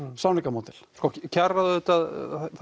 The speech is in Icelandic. samningamódel sko kjararáðið auðvitað